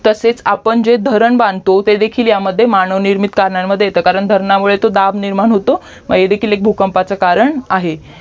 तसेच आपण जे धरण बांधतो ते देखील यामध्ये मानवनिर्मित कारणांमध्ये येते कारण धरणामुळे तो दाब निर्माण होतो हे देखील एक भूकंपाचे कारण आहे